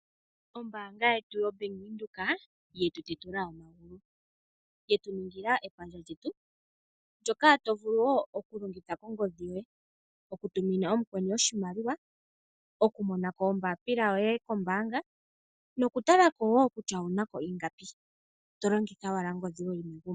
Ombaanga yetu yoBank Windhoek, ye tu tetula omagulu. Yetu ningila epandja lyetu ndyoka to vulu wo okulongitha kongodhi yoye. Oku tumina mukweni oshimaliwa, oku mona ko ombaapila yoye kombaanga nokutala ko wo kutya owu na ko ingapi to longitha owala ongodhi yoye wu li megumbo.